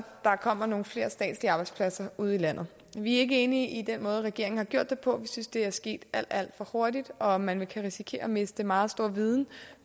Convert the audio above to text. der kommer nogle flere statslige arbejdspladser ude i landet vi er ikke enige i den måde regeringen har gjort det på vi synes det er sket alt alt for hurtigt og at man kan risikere at miste meget stor viden